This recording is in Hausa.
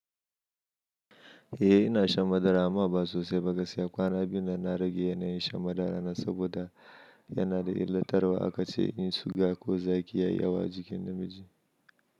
Eh ina shan madara amma ba sosai ba, gaskiya kwana biyu na na rage yanayin shan madara na saboda yana da illatarwa akace in shuka ko zaƙi ya yi yawa jikin namiji.